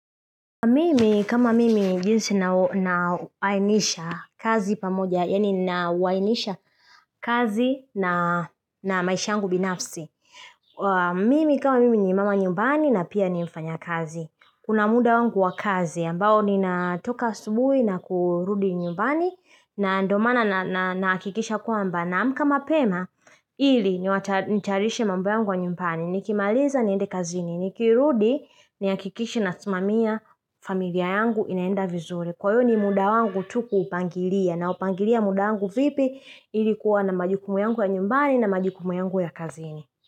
Mimi kama mimi jinsi na wainisha kazi pamoja, yani na wainisha kazi na na maishangu binafsi. Mimi kama mimi ni mama nyumbani na pia ni mfanyakazi. Kunamuda wangu wa kazi ambao ni natoka asubuhi na kurudi nyumbani na ndio maana na nakikisha kwamba. Na amka mapema, hili ni tayarishe mambo yangu ya nyumbani, nikimaliza niende kazini, nikirudi ni hakikishe nasimamia familia yangu inaenda vizuri. Kwa iyo ni muda wangu tu kuupangilia na upangilia muda wangu vipi ilikuwa na majukumu yangu ya nyumbani na majukumu yangu ya kazini.